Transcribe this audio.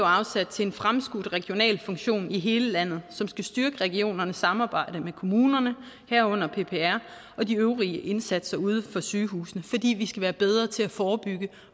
afsat til en fremskudt regional funktion i hele landet som skal styrke regionernes samarbejde med kommunerne herunder ppr og de øvrige indsatser uden for sygehusene fordi vi skal være bedre til at forebygge